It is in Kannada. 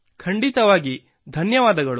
ಖಂಡಿತವಾಗಿ ಧನ್ಯವಾದಗಳು